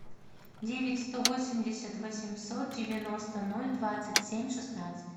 девять сто восемьдесят восемьсот девяносто ноль двадцать семь шестнадцать